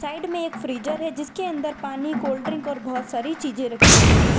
Side में एक freezer है जिसके अंदर पानी कोल्ड ड्रिंक और बहुत सारी चीज रखी हुई है।